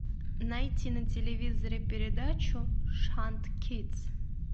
найти на телевизоре передачу шант кидс